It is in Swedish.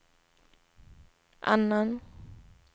annan